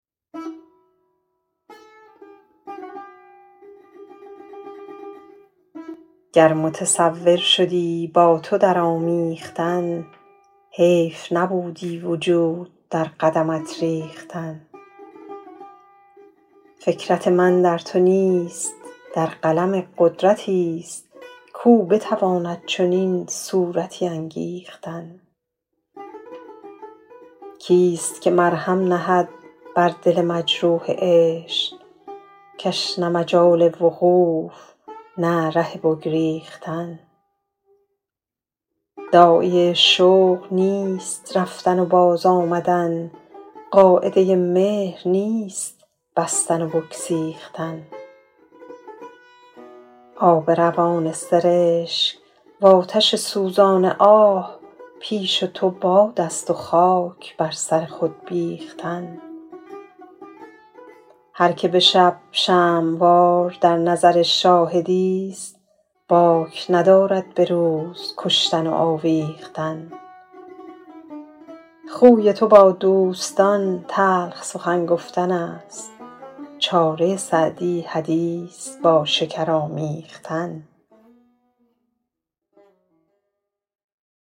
گر متصور شدی با تو در آمیختن حیف نبودی وجود در قدمت ریختن فکرت من در تو نیست در قلم قدرتی ست کاو بتواند چنین صورتی انگیختن کی ست که مرهم نهد بر دل مجروح عشق که ش نه مجال وقوف نه ره بگریختن داعیه شوق نیست رفتن و باز آمدن قاعده مهر نیست بستن و بگسیختن آب روان سرشک وآتش سوزان آه پیش تو باد است و خاک بر سر خود بیختن هر که به شب شمع وار در نظر شاهدی ست باک ندارد به روز کشتن و آویختن خوی تو با دوستان تلخ سخن گفتن است چاره سعدی حدیث با شکر آمیختن